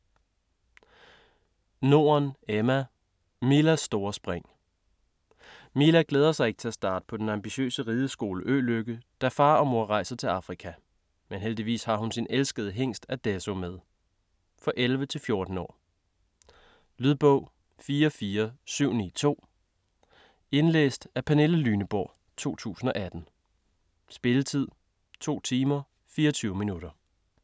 Norden, Emma: Milas store spring Mila glæder sig ikke til at starte på den ambitiøse ridekostskole Ø-lykke, da far og mor rejser til Afrika. Men heldigvis har hun sin elskede hingst Adesso med. For 11-14 år. Lydbog 44792 Indlæst af Pernille Lyneborg, 2018. Spilletid: 2 timer, 24 minutter.